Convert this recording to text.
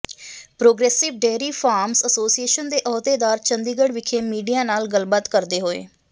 progressive dairy farmers association ਦੇ ਅਹੁਦੇਦਾਰ ਚੰਡੀਗੜ੍ਹ ਵਿਖੇ ਮੀਡੀਆ ਨਾਲ ਗੱਲਬਾਤ ਕਰਦੇ ਹੋਏ